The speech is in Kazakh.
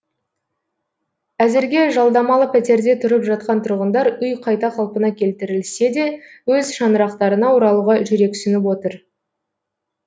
әзірге жалдамалы пәтерде тұрып жатқан тұрғындар үй қайта қалпына келтірілсе де өз шаңырақтарына оралуға жүрексініп отыр